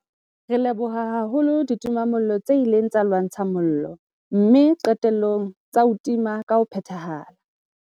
Re leboha haholo ditimamollo tse ileng tsa lwantsha mollo mme qetellong tsa o tima ka ho phethahala.